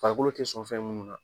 Farfikolo te sɔn fɛn munnu na